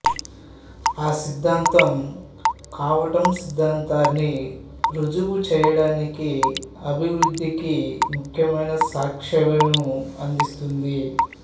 ఆ సిద్ధాంతం క్వాంటం సిద్ధాంతాన్ని ఋజువు చేయడానికి అభివృద్ధికి ముఖ్యమైన సాక్ష్యాలను అందిస్తుంది